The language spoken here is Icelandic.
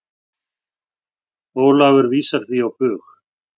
Ólafur vísar því á bug.